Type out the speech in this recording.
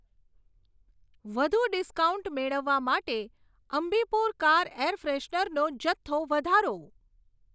વધુ ડિસ્કાઉન્ટ મેળવવા માટે અમ્બીપુર કાર એર ફેશનરનો જથ્થો વધારો.